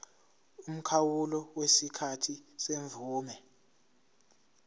umkhawulo wesikhathi semvume